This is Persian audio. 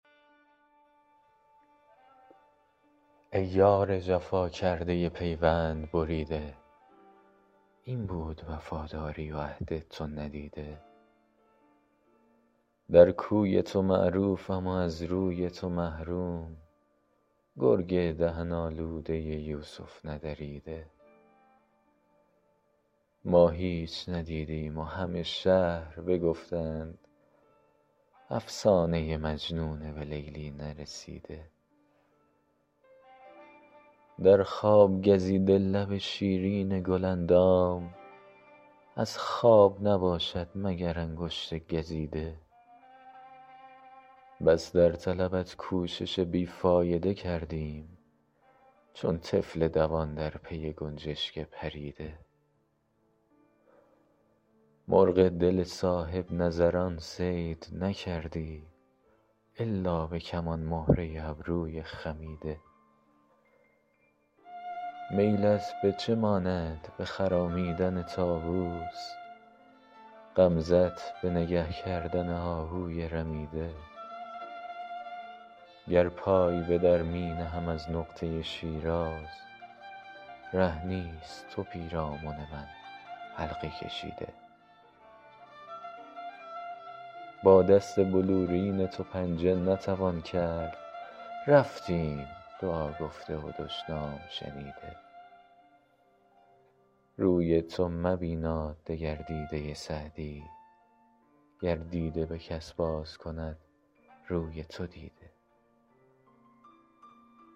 ای یار جفا کرده پیوند بریده این بود وفاداری و عهد تو ندیده در کوی تو معروفم و از روی تو محروم گرگ دهن آلوده یوسف ندریده ما هیچ ندیدیم و همه شهر بگفتند افسانه مجنون به لیلی نرسیده در خواب گزیده لب شیرین گل اندام از خواب نباشد مگر انگشت گزیده بس در طلبت کوشش بی فایده کردیم چون طفل دوان در پی گنجشک پریده مرغ دل صاحب نظران صید نکردی الا به کمان مهره ابروی خمیده میلت به چه ماند به خرامیدن طاووس غمزه ت به نگه کردن آهوی رمیده گر پای به در می نهم از نقطه شیراز ره نیست تو پیرامن من حلقه کشیده با دست بلورین تو پنجه نتوان کرد رفتیم دعا گفته و دشنام شنیده روی تو مبیناد دگر دیده سعدی گر دیده به کس باز کند روی تو دیده